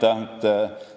Aitäh!